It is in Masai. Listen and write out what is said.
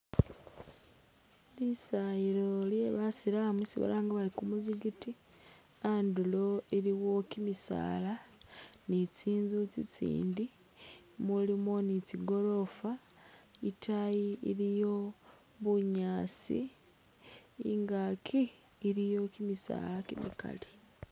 Lisayilo lyebasilamu isi balanga bari kumusigiti andulo iliwo kimisaala ni tsinzu tsitsindi mulimo ni tsigorofa itaayi iliyo bunyaasi ingaki iliyo kimisaala kimikaali